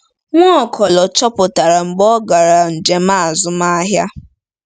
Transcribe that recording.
Nwaokolo chọpụtara mgbe ọ gara njem azụmahịa.